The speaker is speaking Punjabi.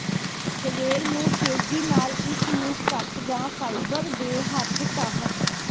ਸਵੇਰ ਨੂੰ ਤੇਜ਼ੀ ਨਾਲ ਇਸ ਨੂੰ ਕੱਟ ਜ ਫਾਈਬਰ ਦੇ ਹੱਥ ਢਾਹ